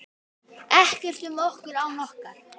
Ekkert um okkur án okkar!